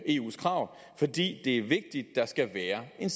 eus krav fordi det er vigtigt at der skal være en